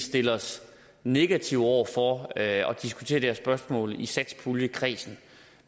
stille os negativt over for at diskutere det her spørgsmål i satspuljekredsen